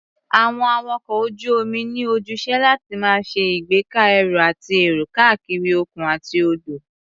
Àwọn awakọ̀ ojú-omi ní ojúṣe láti máa ṣe ìgbéka ẹrù àti èrò káàkiri òkun àti odò.